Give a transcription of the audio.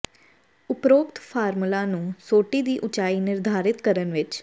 ਉਪਰੋਕਤ ਫਾਰਮੂਲਾ ਨੂੰ ਸੋਟੀ ਦੀ ਉਚਾਈ ਨਿਰਧਾਰਿਤ ਕਰਨ ਵਿੱਚ